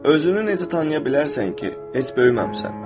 Özünü necə tanıya bilərsən ki, heç böyüməmisən.